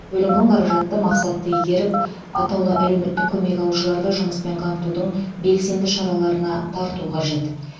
бөлінген қаражатты мақсатты игеріп атаулы әлеуметтік көмек алушыларды жұмыспен қамтудың белсенді шараларына тарту қажет